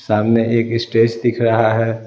सामने एक स्टेज दिख रहा है।